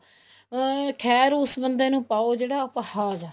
ਅਮ ਖੈਰ ਉਸ ਬੰਦੇ ਨੂੰ ਪਾਓ ਜਿਹੜਾ ਅਪਾਹਿਜ ਹੈ